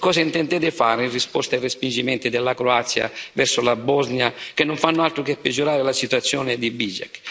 E cosa intendete fare in risposta ai respingimenti della Croazia verso la Bosnia, che non fanno altro che peggiorare la situazione di Bihać?